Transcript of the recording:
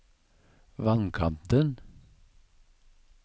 vannkanten